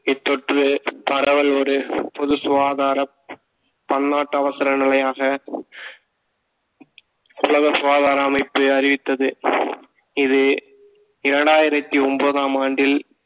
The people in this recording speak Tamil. இத்தொற்று பரவல் ஒரு பொது சுகாதாரம் பன்னாட்டு அவசர நிலையாக உலக சுகாதார அமைப்பு அறிவித்தது இது இரண்டாயிரத்தி ஒன்பதாம் ஆண்டில்